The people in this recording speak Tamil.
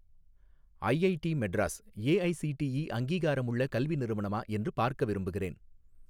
ஐஐடி மெட்ராஸ் ஏஐஸிடிஇ அங்கீகாரமுள்ள கல்வி நிறுவனமா என்று பார்க்க விரும்புகிறேன்